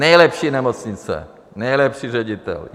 Nejlepší nemocnice, nejlepší ředitel.